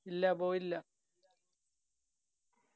ഇല്ല പോയില്ല